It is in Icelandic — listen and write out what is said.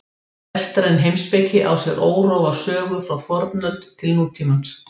Vestræn heimspeki á sér órofa sögu frá fornöld til nútímans.